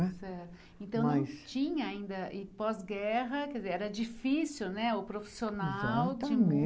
Então não tinha ainda, e pós-guerra, quer dizer era difícil não é o profissional de.